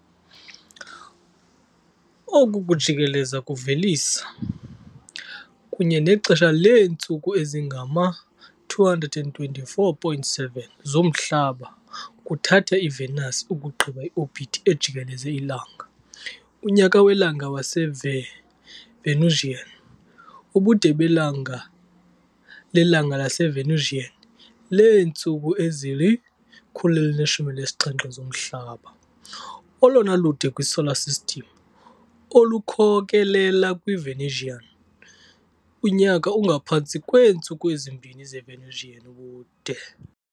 Oku kujikeleza kuvelisa, kunye nexesha leentsuku ezingama-224.7 zomhlaba kuthatha iVenus ukugqiba i-orbit ejikeleze iLanga, unyaka welanga waseVenusian, ubude belanga lelanga laseVenusian leentsuku ezili-117 zomhlaba, olona lude kwiSolar System, olukhokelela kwiVenusian. unyaka ungaphantsi kweentsuku ezimbini zeVenusian ubude.